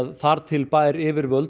þar til bærra yfirvalda